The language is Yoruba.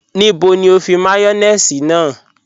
Níbẹ̀ ni o fi màyọ̀nèṣì náà?